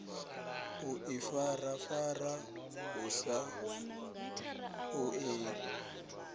u ifarafara hu sa ṱoḓei